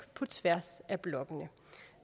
på tværs af blokkene